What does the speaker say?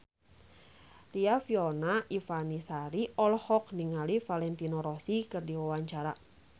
Riafinola Ifani Sari olohok ningali Valentino Rossi keur diwawancara